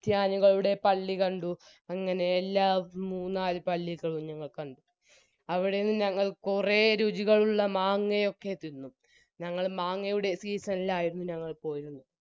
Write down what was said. ക്രിസ്ത്യാനികളുടെ പള്ളി കണ്ടു അങ്ങനെ എല്ലാ മൂന്നാല് പള്ളികളും ഞങ്ങൾ കണ്ടു അവിടുന്ന് ഞങ്ങൾ കുറെ രുചികളുള്ള മാങ്ങ ഒക്കെ തിന്നു ഞങ്ങൾ മാങ്ങയുടെ season ഇൽ ആയിരുന്നു ഞങ്ങൾ തോന്നുന്നു